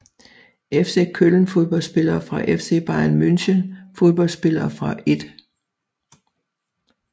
FC Köln Fodboldspillere fra FC Bayern München Fodboldspillere fra 1